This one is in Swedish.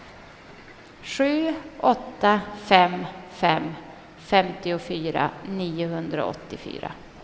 sju åtta fem fem femtiofyra niohundraåttiofyra